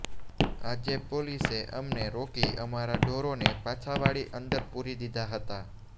આજે પોલીસે અમને રોકી અમારા ઢોરોને પાછાવાળી અંદર પુરી દીધા હતા